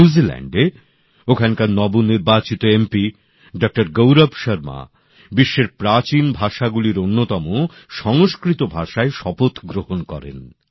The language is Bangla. নিউজিল্যান্ডে ওখানকার নবনির্বাচিত সাংসদ ডঃ গৌরব শর্মা বিশ্বের প্রাচীন ভাষাগুলির অন্যতম সংস্কৃত ভাষায় শপথ গ্রহণ করেন